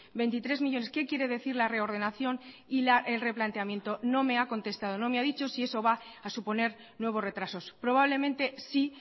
veintitrés millónes qué quiere decir la reordenación y el replanteamiento no me ha contestado no me ha dicho si eso va a suponer nuevos retrasos probablemente sí